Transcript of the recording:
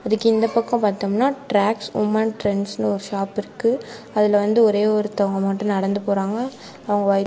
அதுக்கு இந்த பக்கம் பாத்தம்னா ட்ராக்ஸ் உமன் ட்ரென்ட்ஸ்னு ஒரு ஷாப் இருக்கு அதுல வந்து ஒரே ஒருத்தவங்க மட்டும் நடந்து போறாங்க அவங்க வோ.